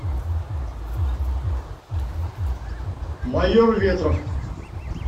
майор ветров